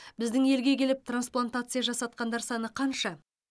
біздің елге келіп трансплантация жасатқандар саны қанша